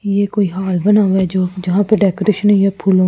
ये कोई हॉल बना हुआ है जो जहां पे डेकोरेशन हुई है फूल--